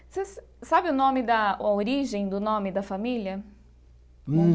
Você sabe o nome da a origem do nome da família?